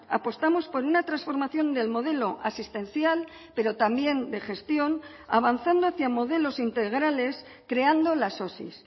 apostamos por una transformación del modelo asistencial pero también de gestión avanzando hacia modelos integrales creando las osi